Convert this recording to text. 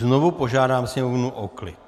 Znovu požádám Sněmovnu o klid.